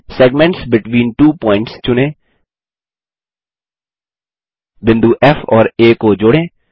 segments between two points चुनें बिंदु फ़ और आ को जोड़ें